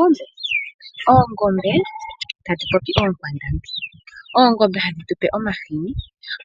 Oongombe, oongombe tatupopi oonkwandambi, oongombe hadhi tupe omahini,